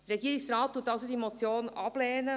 Der Regierungsrat lehnt diese Motion ab.